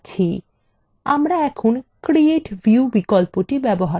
আমরা এখন create view বিকল্পটি ব্যবহার করব